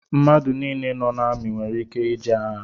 Mmadụ nile nọ n'ọrụ amị nwèrè ike ije agha